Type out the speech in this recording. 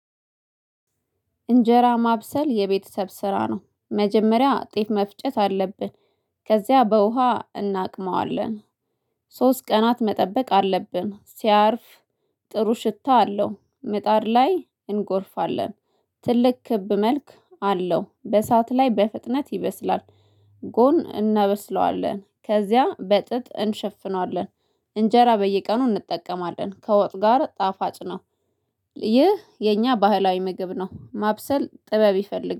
እንጀራ ማብሰል የቤተሰብ ስራ ነው መጀመሪያ ጤፍ መፍጨት አለብን ከዚያ በውሃ እናቅመዋለን። ሶስት ቀናት መጠበቅ አለብን ሲያርፍ ጥሩ ሽታ አለው። ምጣድ ላይ እንጎርፋለን። ትልቅ ክብ መልክ አለው በሰአት ላይ በፍጥነት ይበስላል። ጎን እናበስለዋለን ከዚያ በጥጥ እንሸፍነዋለን። እንጀራ በየቀኑ እንጠቀማለን ከወጥ ጋር ጣፋጭ ነው። ይህ የኛ ባህላዊ ምግብ ነው። ማብሰል ጥበብ ይፈልግ